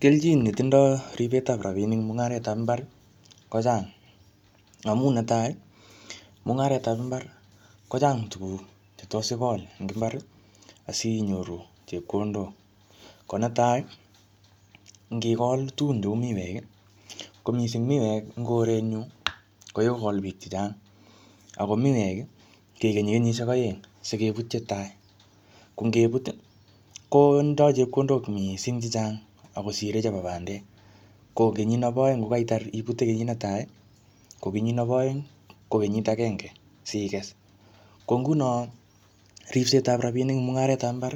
Kelchin ne tindoi ribetab rabiinik eng mungaretab imbar ko chang, amu ne tai ii, mungaretab imbar kochang tukuk che tos ikol eng imbar asinyoru chepkondok, ko netai ii ngikol tugun cheu miwek ii ko mising miwek eng korenyu ko kikokol piik che chang, ako miwek ii kikenyi kenyisiek aeng sikebut che tai, ko ngebut ii ko tindoi chepkondok mising chechang ak kosire chebo bandek, ko kenyit nebo aeng ko ngaitar ibutei kenyit tai ii, ko kenyit nebo aeng ii ko kenyit akenge sikes, ko nguno ripsetab rabiinik eng mungaretab imbar,